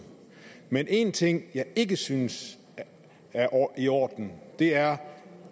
men en ting jeg ikke synes er i orden er